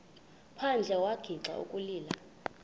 phandle wagixa ukulila